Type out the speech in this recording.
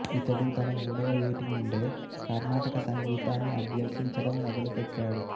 ఇతడు తన మూడవ యేటి నుండే కర్ణాటక సంగీతాన్ని అభ్యసించడం మొదలుపెట్టాడు